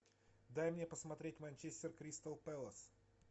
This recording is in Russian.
дай мне посмотреть манчестер кристал пэлас